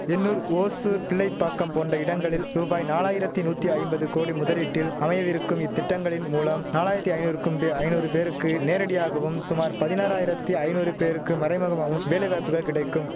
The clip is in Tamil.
எண்ணூர் ஓசூர் பிள்ளைப்பாக்கம் போன்ற இடங்களில் ரூபாய் நாலாயிரத்தி நூத்தி ஐம்பது கோடி முதலீட்டில் அமையவிருக்கும் இத்திட்டங்களின் மூலம் நாலாயிரத்தி ஐநூறுக்கும்டு ஐநூறு பேருக்கு நேரடியாகவும் சுமார் பதினாறாயிரத்தி ஐநூறு பேருக்கு மறைமுகமாகவும் வேலைவாய்ப்புகள் கிடைக்கும்